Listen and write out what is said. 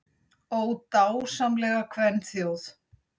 Ó, dásamlega kvenþjóð!